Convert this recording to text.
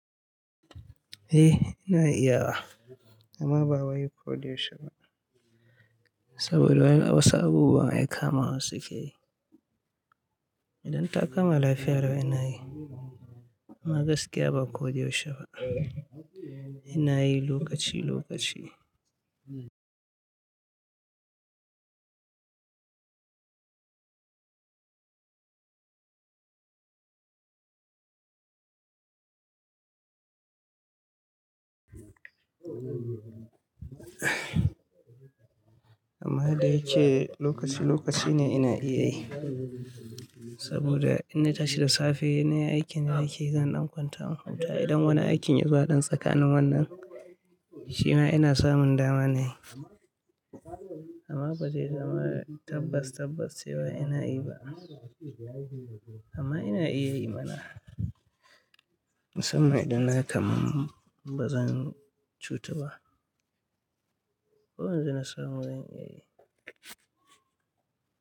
Eh ina iyawa amma ba yau koda yaushe ba saboda wasu abubuwa ai kamawa suke yi. Idan ta kama lafiya lau ina yi amma gaskiya ba koda yaushe ba. Ina yi lokaci lokaci. Amma yadda yace lokaci lokaci ne ina iya yi saboda in na tashi da safe nayi aikin da nake zan ɗan kwanta na huta. Idan wani aikin ya zo a ɗan tsakanin wannan shi ma ina samun dama na yi amma ba sai da marai tabbas tabbas sai ba ina yi ba amma ina iya yi mana. Musamman idan na kam ba zan cutu ba. Ko yanzu na samu zan iya yi.